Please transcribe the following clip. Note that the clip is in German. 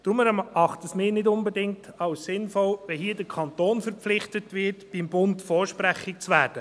Deshalb erachten wir es nicht unbedingt als sinnvoll, wenn hier der Kanton verpflichtet wird, beim Bund vorsprechig zu werden.